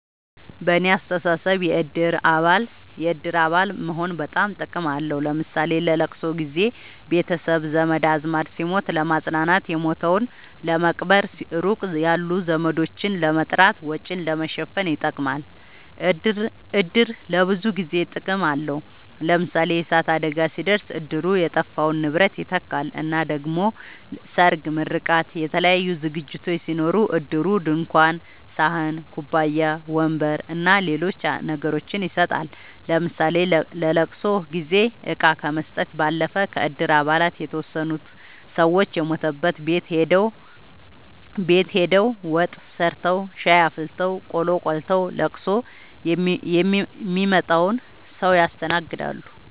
በኔ አስተሳሰብ የእድር አባል መሆን በጣም ጥቅም አለዉ ለምሳሌ ለለቅሶ ጊዘ ቤተሰብ ዘመድአዝማድ ሲሞት ለማጽናናት የሞተዉን ለመቅበር ሩቅ ያሉ ዘመዶችን ለመጥራት ወጪን ለመሸፈን ይጠቅማል። እድር ለብዙ ነገር ጥቅም አለዉ ለምሳሌ የእሳት አደጋ ሲደርስ እድሩ የጠፋውን ንብረት ይተካል እና ደሞ ሰርግ ምርቃት የተለያዩ ዝግጅቶች ሲኖሩ እድሩ ድንኳን ሰሀን ኩባያ ወንበር አና ሌሎች ነገሮችን ይሰጣል ለምሳሌ ለለቅሶ ጊዜ እቃ ከመስጠት ባለፈ ከእድር አባላት የተወሰኑት ሰወች የሞተበት ቤት ሆደው ወጥ ሰርተዉ ሻይ አፍልተው ቆሎ ቆልተዉ ለቅሶ ሚመጣዉን ሰዉ ያስተናግዳሉ።